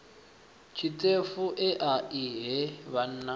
tshiṱefu ea i he vhanna